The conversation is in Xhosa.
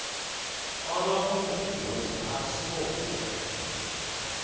onobungozi asibo bume